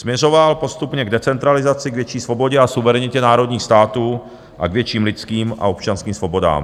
Směřoval postupně k decentralizaci, k větší svobodě a suverenitě národních států a k větším lidským a občanským svobodám.